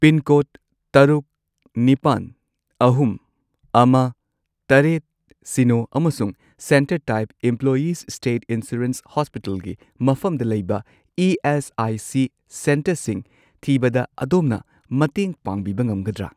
Pincode ꯇꯔꯨꯛ, ꯅꯤꯄꯥꯟ, ꯑꯍꯨꯝ, ꯑꯃ, ꯇꯔꯦꯠ, ꯁꯤꯅꯣ ꯑꯃꯁꯨꯡ centre type employees'' state insurance ꯍꯣꯁꯄꯤꯇꯜꯒꯤ ꯃꯐꯝꯗ ꯂꯩꯕ ꯏ.ꯑꯦꯁ.ꯑꯥꯏ.ꯁꯤ. ꯁꯦꯟꯇꯔꯁꯤꯡ ꯊꯤꯕꯗ ꯑꯗꯣꯝꯅ ꯃꯇꯦꯡ ꯄꯥꯡꯕꯤꯕ ꯉꯝꯒꯗ꯭ꯔꯥ?